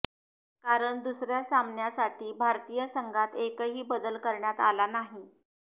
कारण दुसऱ्या सामन्यासाठी भारतीय संघात एकही बदल करण्यात आला नाही